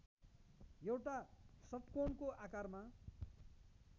एउटा षट्कोणको आकारमा